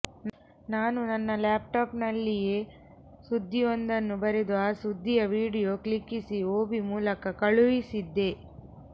ನಾನು ನನ್ನ ಲ್ಯಾಪ್ಟಾಪ್ನಲ್ಲಿಯೇ ಸುದ್ದಿಯೊಂದನ್ನು ಬರೆದು ಆ ಸುದ್ದಿಯ ವಿಡಿಯೊ ಕ್ಲಿಕ್ಕಿಸಿ ಒಬಿ ಮೂಲಕ ಕಳುಹಿಸಿದ್ದೆ